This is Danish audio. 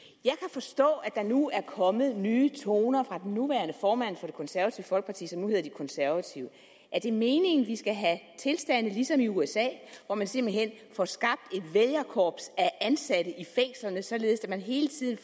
forstå at der nu er kommet nye toner fra den nuværende formand for det konservative folkeparti som nu hedder de konservative er det meningen at vi skal have tilstande ligesom i usa hvor man simpelt hen får skabt et vælgerkorps af ansatte i fængslerne således at man hele tiden